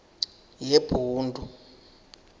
yebhundu